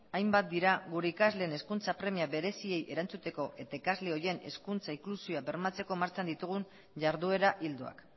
hainbat dira gure ikasleen hezkuntza premia bereziei erantzuteko eta ikasle horien hezkuntza inklusioa bermatzeko martxan ditugun jarduera ildoak